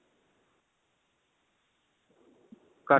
ਘਰ